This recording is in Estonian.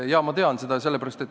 Jaa, ma tean seda.